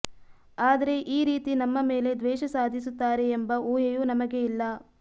ಆದ್ರೆ ಈ ರೀತಿ ನಮ್ಮ ಮೇಲೆ ದ್ವೇಷ ಸಾಧಿಸುತ್ತಾರೆ ಎಂಬ ಊಹೆಯೂ ನಮಗೆ ಇಲ್ಲ